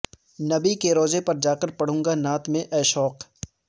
نبی کے روضے پر جاکر پڑھوں گا نعت میں اے شوق